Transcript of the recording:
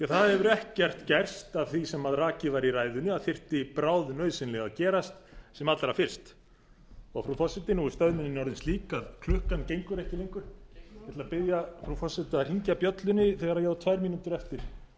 það hefur ekkert gerst af því sem rakið var í ræðunni af því sem þyrfti bráðnauðsynlega að gerast sem allra fyrst frú forseti nú er stöðnunin orðin slík að klukkan gengur ekki lengur ég ætla að biðja frú forseta að hringja bjöllunni þegar ég á tvær mínútur eftir það